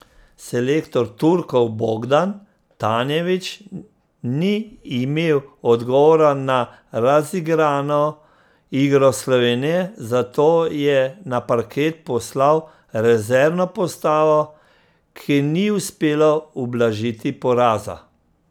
Selektor Turkov Bogdan Tanjević ni imel odgovora na razigrano igro Slovenije, zato je na parket poslal rezervno postavo, ki ni uspela ublažiti poraza.